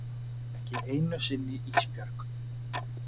Ekki einu sinni Ísbjörg.